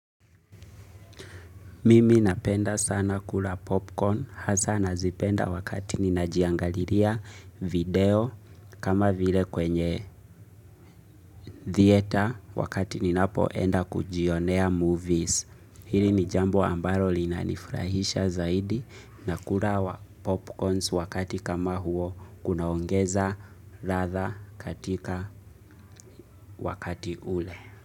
Mimi napenda sana kula popcorn hasa nazipenda wakati ninajiangaliria video kama vile kwenye thieta wakati ninapo enda kujionea movies. Hili ni jambo ambaro linanifrahisha zaidi na kula popcorns wakati kama huo kunaongeza ratha katika wakati ule.